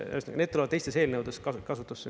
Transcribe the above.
Ühesõnaga, need tulevad teistes eelnõudes kasutusse.